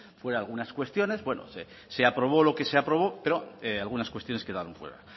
fuera algunas cuestiones bueno se aprobó lo que se aprobó pero algunas cuestiones quedaron fuera